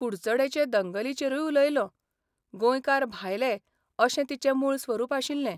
कुडचडेंचे दंगलीचेरूय उलयलों, गोंयकार भायले अशें तिचें मूळ स्वरूप आशिल्लें.